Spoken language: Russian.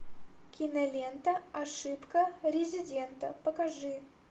кинолента ошибка резидента покажи